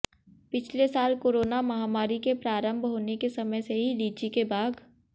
पिछले साल कोरोना महामारी के प्रारंभ होने के समय से ही लीची के बाग